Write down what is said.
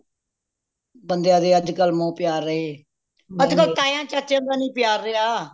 ਬੰਦਿਆਂ ਦੇ ਅੱਜ ਕੱਲ ਮੋਹ ਪਿਆਰ ਰਹੇ ਅੱਜ ਕੱਲ ਤਾਏ ਚਾਚੇਆਂ ਦਾ ਨਹੀਂ ਪਿਆਰ ਰਹੀਆਂ